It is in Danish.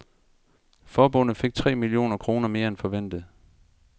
Forbundet fik tre millioner kroner mere end forventet.